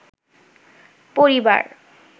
পরিবার